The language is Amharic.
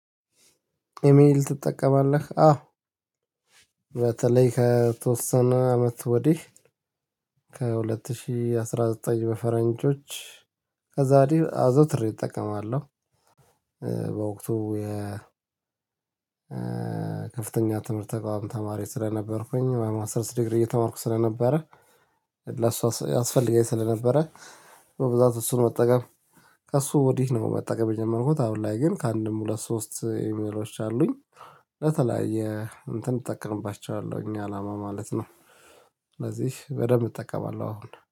ኢሜል ትጠቀማለህ አዎ በተለይ ከተወሰነ አመት ወዲህ ከሁለት ሺህ አስራ ዘጠኝ በፈረንጆች ከዛ ወዲ አዘውትሬ እጠቀማለሁ። በወቅቱ የ ከፍተኛ ትምህርት ተቋም ተማሪ ስለነበርኩኝ ማስተርስ ዲግሪ እየተማርኩ ስለነበረ ለእሷ ያስፈልገኝ ስለነበረ በብዛት እሱን መጠቀም ከእሱ ወዲህ ነው መጠቀም የጀመርኩት አሁን ላይ ግን ከአንድም ሁለት ሶስት ኢሜሎች አሉኝ ለተለያየ እንትን እጠቀምባቸዋለሁኝ አላማ ማለት ነው። ስለዚህ በደንብ እጠቀማለሁ አሁን